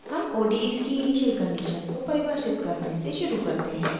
हम odes की initial conditions को परिभाषित करने से शुरू करते हैं